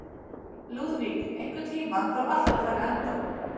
Lúðvík, einhvern tímann þarf allt að taka enda.